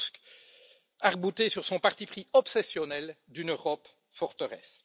Tusk arc bouté sur son parti pris obsessionnel d'une Europe forteresse.